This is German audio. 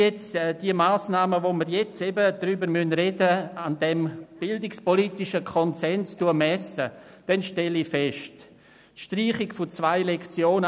Wenn ich die Massnahmen, über die wir sprechen, an diesem bildungspolitischen Konsens messe, dann ich stelle ich Folgendes fest: Die Streichung von zwei Lektionen